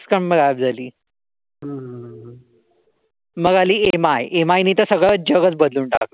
मग आली M I. M I ने तर सगळ जगच बदलून टाकलं.